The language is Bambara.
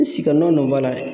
si ka nɔ nɔ ba layɛ